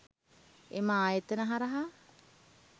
එම ආයතන හරහා